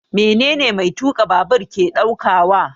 Menene mai tuka babur ke daukawa?